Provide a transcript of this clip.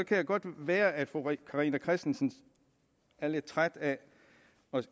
godt være at fru carina christensen er lidt træt af